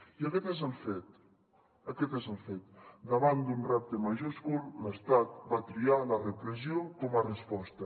i aquest és el fet aquest és el fet davant d’un repte majúscul l’estat va triar la repressió com a resposta